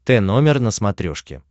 т номер на смотрешке